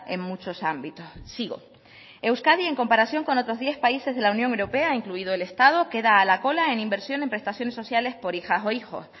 en muchos ámbitos sigo euskadi en comparación con otros diez países de la unión europea incluido el estado queda a la cola en inversión en prestaciones sociales por hijas o hijos